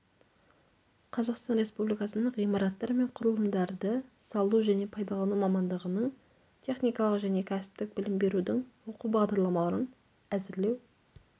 қазақстан республикасының ғимараттар мен құрылымдарды салу және пайдалану мамандығының техникалық және кәсіптік білім берудің оқу бағдарламасын әзірлеу